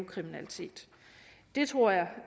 kriminalitet det tror jeg